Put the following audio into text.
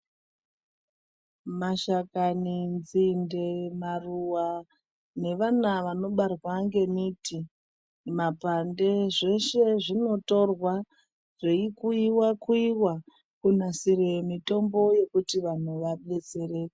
Mashakani nzinde maruwa nevana vanobarwa ngemiti mapande zveshe zvinotorwa zveikuyiwa kuyiwa, kunasira mitombo yekuti vantu vadetsereke.